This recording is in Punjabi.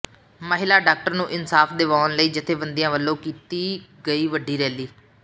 ਮਹਿਲਾ ਡਾਕਟਰ ਨੂੰ ਇਨਸਾਫ ਦਵਾਉਣ ਲਈ ਜੱਥੇਬੰਦੀਆਂ ਵੱਲੋਂ ਕੀਤੀ ਗਈ ਵੱਡੀ ਰੈਲੀ